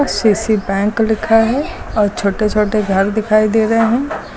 I C I C bank लिखा है और छोटे छोटे घर दिखाई दे रहे हैं।